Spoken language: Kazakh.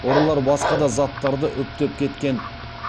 ұрылар басқа да заттарды үптеп кеткен